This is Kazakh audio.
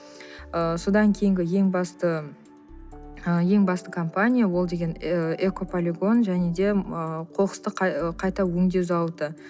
ы содан кейінгі ең басты ы ең басты компания ол деген экополигон және де ыыы қоқысты қайта өңдеу зауыты